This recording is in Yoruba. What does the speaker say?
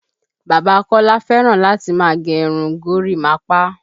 Bàbá Kọ́lá fẹ́ràn láti máa gẹ irun gorímapá